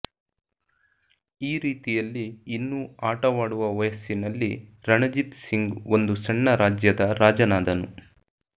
ಈ ರೀತಿಯಲ್ಲಿ ಇನ್ನೂ ಆಟವಾಡುವ ವಯಸ್ಸಿನಲ್ಲಿ ರಣಜಿತ್ ಸಿಂಗ್ ಒಂದು ಸಣ್ಣ ರಾಜ್ಯದ ರಾಜನಾದನು